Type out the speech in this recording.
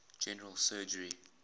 general surgery